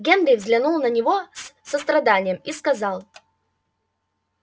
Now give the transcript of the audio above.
генри взглянул на него с состраданием и сказал